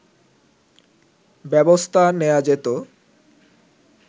ব্যবস্থা নেয়া যেতো